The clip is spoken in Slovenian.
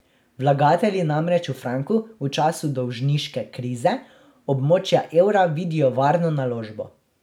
Vlagatelji namreč v franku v času dolžniške krize območja evra vidijo varno naložbo.